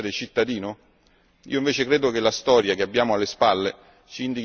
Forse sarebbe bastato fare un'asta per concedere il diritto ad essere cittadini?